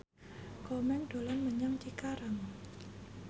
Komeng dolan menyang Cikarang